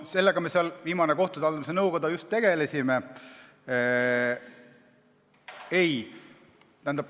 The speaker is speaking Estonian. Sellega me viimasel korral kohtute haldamise nõukojas just tegelesime.